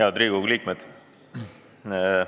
Head Riigikogu liikmed!